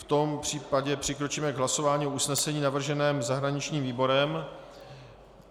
V tom případě přikročíme k hlasování o usnesení navrženém zahraničním výborem.